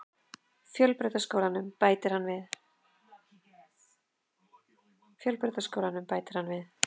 Fjölbrautaskólann, bætir hann við.